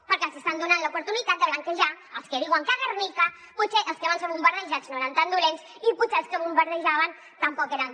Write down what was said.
perquè els hi estan donant l’oportunitat de blanquejar els que diuen que a guernica potser els que van ser bombardejats no eren tan dolents i potser els que bombardejaven tampoc eren